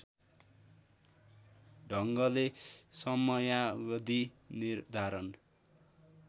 ढङ्गले समयावधि निर्धारण